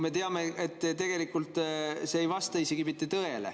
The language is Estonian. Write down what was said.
Me ju teame, et tegelikult see ei vasta isegi mitte tõele.